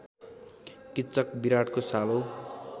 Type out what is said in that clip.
किच्चक विराटको सालो